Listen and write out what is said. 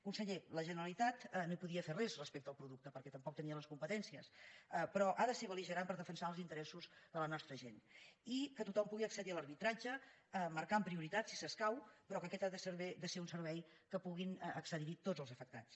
conseller la generalitat no hi podia fer res respecte al producte perquè tampoc tenia les competències però ha de ser belnostra gent i que tothom pugui accedir a l’arbitratge marcant prioritats si s’escau però aquest ha de ser un servei que puguin accedir hi tots els afectats